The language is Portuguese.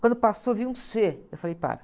Quando passou, vi um cê. Eu falei, para.